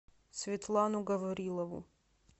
светлану гаврилову